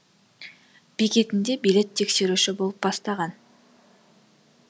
бекетінде билет тексеруші болып бастаған